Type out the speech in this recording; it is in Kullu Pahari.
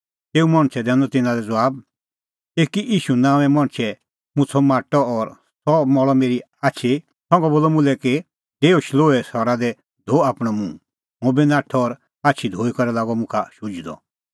तेऊ मणछै दैनअ तिन्नां लै ज़बाब एकी ईशू नांओंए मणछै मुछ़अ माटअ और सह मल़अ मेरी आछी संघा बोलअ मुल्है कि डेऊ शिलोहे सरा दी धो आपणअ मुंह हुंबी नाठअ और आछी धोई करै लागअ मुखा शुझणअ